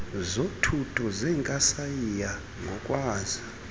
zothuthu zenkasayiya ngokwazi